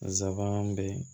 Zaban bɛ